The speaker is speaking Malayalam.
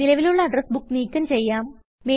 നിലവിലുള്ള അഡ്രസ് ബുക്ക് നീക്കം ചെയ്യാം